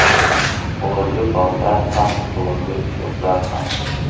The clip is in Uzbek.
Blogi borlar ham, blogi yo‘qlar ham.